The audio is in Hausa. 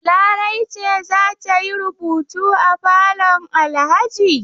Larai ce za ta yi rubutu a falon Alhaji?